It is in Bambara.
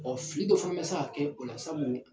Ɔɔ fili dɔ fana be se ka kɛ o la sabu